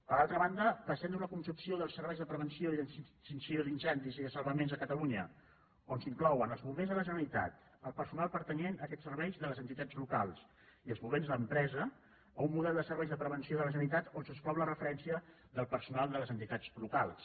per altra banda passem d’una concepció dels serveis de prevenció i extinció d’incendis i de salvaments a catalunya on s’inclouen els bombers de la generalitat el personal pertanyent a aquests serveis de les entitats locals i els bombers d’empresa a un model de serveis de prevenció de la generalitat on s’exclou la referèn·cia al personal de les entitats locals